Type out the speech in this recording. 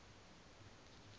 sasemqanduli